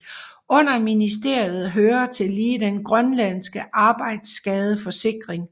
Under ministeriet hører tillige den grønlandske arbejdsskadeforsikring